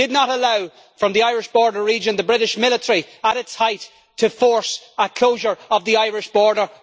We did not allow, in the Irish border region, the British military at its height to force a closure of the Irish border.